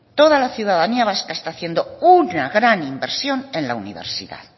toda la ciudadanía vasca está haciendo una gran inversión en la universidad